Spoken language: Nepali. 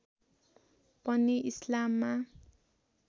पनि इस्लाममा